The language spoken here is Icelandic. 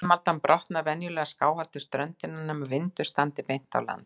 Brimaldan brotnar venjulega skáhallt við ströndina, nema vindur standi beint á land.